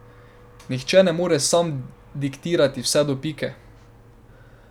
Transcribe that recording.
Nihče ne more nam diktirati vse do pike!